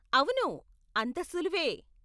అవును, అంత సులువే.